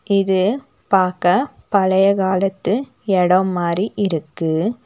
இது பாக்க பழைய காலத்து எடம் மாரி இருக்கு.